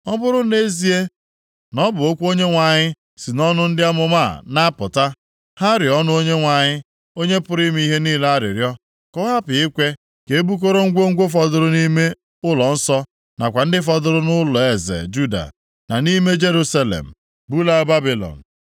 Ọ bụrụ nʼezie na ọ bụ okwu Onyenwe anyị si nʼọnụ ndị amụma a na-apụta, ha rịọọnụ Onyenwe anyị, Onye pụrụ ime ihe niile arịrịọ ka ọ hapụ ikwe ka e bukọrọ ngwongwo fọdụrụ nʼime ụlọnsọ nakwa ndị fọdụrụ nʼụlọeze Juda, na nʼime Jerusalem bulaa Babilọn.